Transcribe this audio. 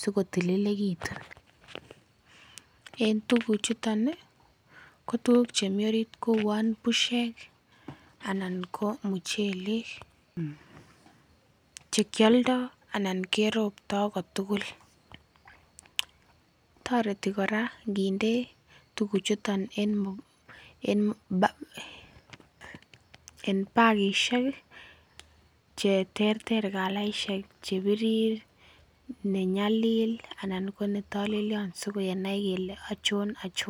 sikotililekitu en tuguk chuton ih ko tuguk chemii orit ko uon bushek anan ko muchelek chekioldo anan keroptoo kotugul. Toreti kora nginde tuguk chuton en bakisiek ih cheterter calaisiek chebirir ne nyalil anan ko netolelyon sikenai kele achon achon